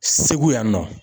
Segu yan nɔ